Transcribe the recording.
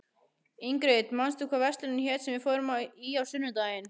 Ingrid, manstu hvað verslunin hét sem við fórum í á sunnudaginn?